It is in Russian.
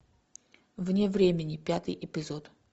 вне времени пятый эпизод